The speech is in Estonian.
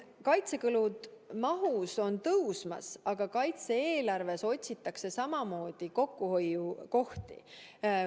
Kaitsekulude maht on tõusmas, aga kaitse-eelarves otsitakse samamoodi kokkuhoiukohti.